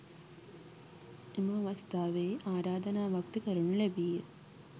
එම අවස්ථාවේ ආරාධනාවක් ද කරනු ලැබීය.